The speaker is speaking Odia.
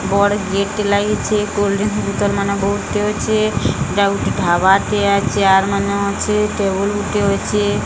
ବଡ ଗେଟ୍ ଟେ ଲାଗିଚି କୋଲ୍ଡରିଂ ବୁତଲମାନେ ବୋହୁତେ ଅଛେ ଏଟା ଗୁଟେ ଢାବା ଟେ ଚିଆର୍ ମାନେ ଅଛେ ଟେବୁଲ ଗୁଟିଏ ଅଛେ। ଗୁଟିଏ ଅଛେ।